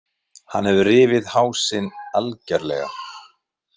Hann hefur rifið hásin algjörlega.